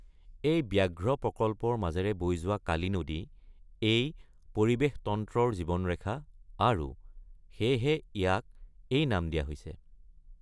এই ব্যাঘ্ৰ প্ৰকল্পৰ মাজেৰে বৈ যোৱা কালি নদী এই পৰিৱেশতন্ত্ৰৰ জীৱনৰেখা আৰু সেয়েহে ইয়াক এই নাম দিয়া হৈছে।